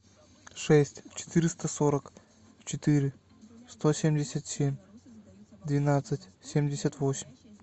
шесть четыреста сорок четыре сто семьдесят семь двенадцать семьдесят восемь